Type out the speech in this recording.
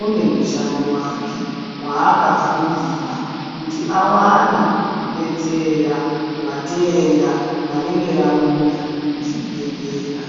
une mushando wake waakafundira kuti awane kudetsera vatenda vanenge vauya kuzvibhedhlera.